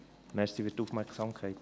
Danke für die Aufmerksamkeit.